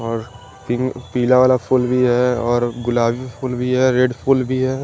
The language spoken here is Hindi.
और पिंग पीला वाला फूल भी है और गुलाबी फूल भी है रेड फूल भी है।